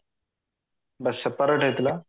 ବା separate ହେଇଥିଲା